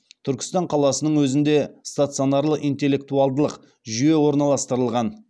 түркістан қаласының өзінде стационарлы интеллектуалдылық жүйе орналастырылған